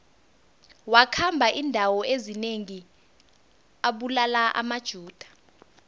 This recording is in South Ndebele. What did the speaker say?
wakhamba indawo ezinengi abulala amajuda